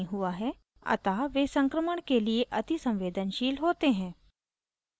अतः वे संक्रमण के लिए अतिसंवेदनशील होते हैं